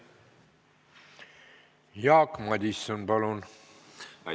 Jaak Madison, palun!